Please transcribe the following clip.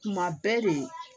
Kuma bɛɛ de